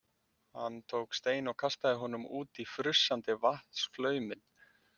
Hann tók stein og kastaði honum út í frussandi vatnsflauminn.